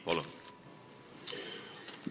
Palun!